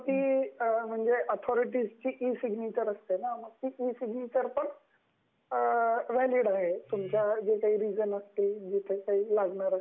म्हणजे त्याच्यावरती authority e- signature असते न ती इ- सिग्नचेर वैलिड असते, तुमच्याकडे जे काही रीजन असतील फाइल असतील तर वैलिड असत ते